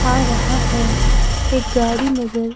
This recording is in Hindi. आ रहा है एक गाड़ी नजर--